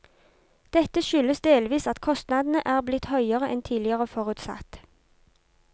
Dette skyldes delvis at kostnadene er blitt høyere enn tidligere forutsatt.